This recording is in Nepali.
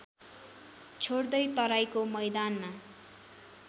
छोड्दै तराइको मैदानमा